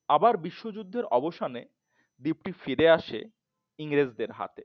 আবার বিশ্বযুদ্ধের অবসানে দ্বীপ টি আবার ফিরে আসে ইংরেজদের হাথে